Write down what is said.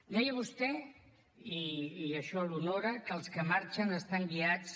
deia vostè i això l’honora que els que marxen estan guiats